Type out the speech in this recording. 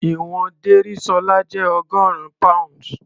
Ìwọ̀n Dérìsọ́lá jẹ́ ọgọ́rin pounds.